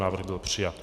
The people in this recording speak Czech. Návrh byl přijat.